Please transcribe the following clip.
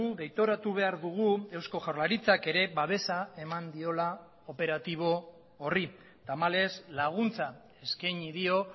deitoratu behar dugu eusko jaurlaritzak ere babesa eman diola operatibo horri tamalez laguntza eskaini dio